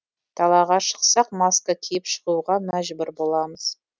далаға шықсақ маска киіп шығуға мәжбүр боламыз